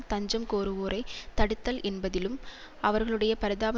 தஞ்சம் கோருவோரைத் தடுத்தல் என்பதிலும் அவர்களுடைய பரிதாப